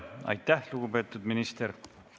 Aitäh, lugupeetud minister!